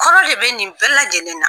Kɔrɔ de bɛ nin bɛɛ lajɛlen na